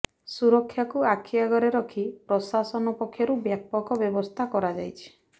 ସୁରକ୍ଷାକୁ ଆଖି ଆଗରେ ରଖି ପ୍ରଶାସନ ପକ୍ଷରୁ ବ୍ୟାପକ ବ୍ୟବସ୍ଥା କରାଯାଇଛି